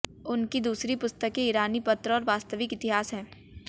उनकी दूसरी पुस्तकें ईरानी पत्र और वास्तविक इतिहास हैं